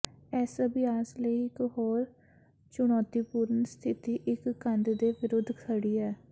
ਇਸ ਅਭਿਆਸ ਲਈ ਇੱਕ ਹੋਰ ਚੁਣੌਤੀਪੂਰਨ ਸਥਿਤੀ ਇੱਕ ਕੰਧ ਦੇ ਵਿਰੁੱਧ ਖੜ੍ਹੀ ਹੈ